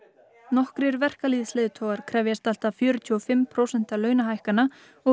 nokkrir verkalýðsleiðtogar krefjast allt að fjörutíu og fimm prósenta launahækkana og